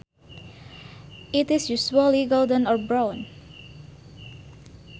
It is usually golden or brown